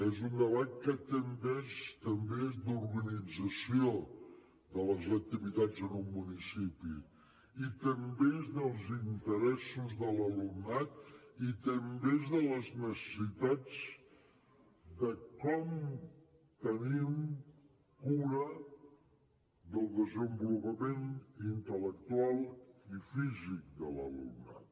és un debat que també és d’organització de les activitats en un municipi i també és dels interessos de l’alumnat i també és de les necessitats de com tenim cura del desenvolupament intel·lectual i físic de l’alumnat